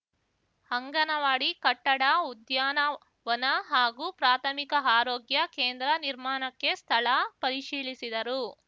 ಅಂಗನವಾಡಿ ಕಟ್ಟಡ ಉದ್ಯಾನ ವನ ಹಾಗೂ ಪ್ರಾಥಮಿಕ ಆರೋಗ್ಯ ಕೇಂದ್ರ ನಿರ್ಮಾಣಕ್ಕೆ ಸ್ಥಳ ಪರಿಶೀಲಿಸಿದರು